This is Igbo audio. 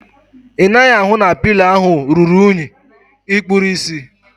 Ị naghị ahụ na pịlo ahu ruru unyi? Ikpuru ịsị?